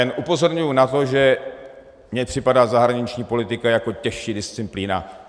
Jen upozorňuji na to, že mi připadá zahraniční politika jako těžší disciplína.